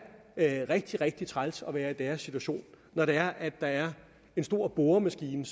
rigtig rigtig træls at være i deres situation når det er at der er en stor boremaskine